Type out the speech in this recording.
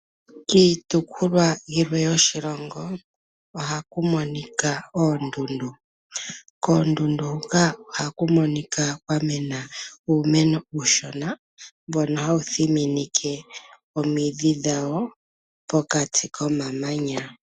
Kiitopolwa yilwe yoshilongo ohaku monika oondundu. Koondundu hoka ohaku monika kwa mena uumeno uushona mbono hawu thininike omidhi dhawo pokati komamanya.